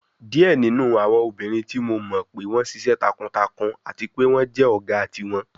Diẹ ninu awọn obinrin ti Mo mọ pe wọn ṣiṣẹ takuntakun ati pe wọn jẹ ọga tiwọn